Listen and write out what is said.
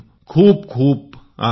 खूपखूप आभार